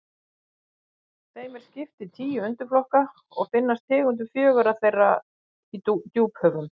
þeim er skipt í tíu undirflokka og finnast tegundir fjögurra þeirra í djúphöfum